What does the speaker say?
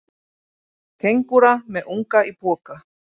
Kengúra með unga í poka.